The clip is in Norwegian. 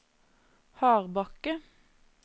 Hardbakke